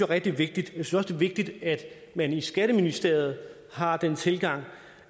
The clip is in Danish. rigtig vigtigt jeg synes vigtigt at man i skatteministeriet har den tilgang